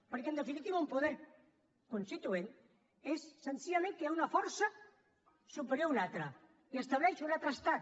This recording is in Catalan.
perquè en definitiva un poder constituent és senzillament que hi ha una força superior a una altra i estableix un altre estat